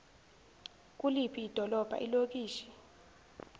kuliphi idolobha ilokishi